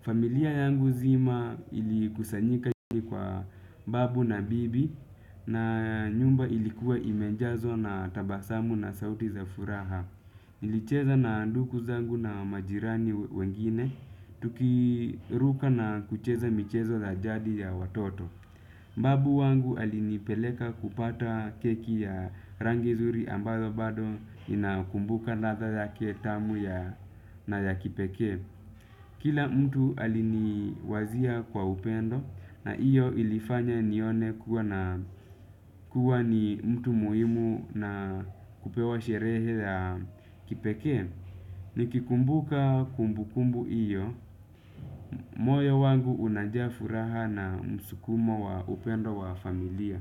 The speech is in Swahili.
Familia yangu nzima ilikusanyika kwa babu na bibi na nyumba ilikuwa imejazwo na tabasamu na sauti za furaha. Ilicheza na ndugu zangu na majirani wengine tukiruka na kucheza michezo la jadi ya watoto. Babu wangu alinipeleka kupata keki ya rangi zuri ambazo bado inakumbuka radha yake tamu ya na ya kipekee. Kila mtu aliniwazia kwa upendo na iyo ilifanya nione kuwa ni mtu muhimu na kupewa sherehe ya kipekee. Nikikumbuka kumbukumbu iyo, moyo wangu unajaa furaha na msukumo wa upendo wa familia.